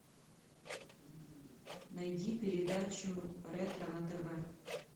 найди передачу ретро на тв